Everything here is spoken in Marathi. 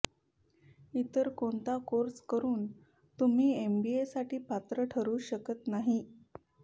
इतर कोणता कोर्स करून तुम्ही एमबीएसाठी पात्र ठरू शकत नाही